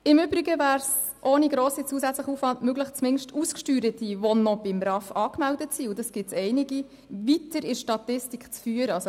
Im Übrigen wäre es ohne grossen zusätzlichen Aufwand möglich, zumindest Ausgesteuerte, die noch bei einem RAV angemeldet sind – und davon gibt es einige – weiter in der Statistik zu führen.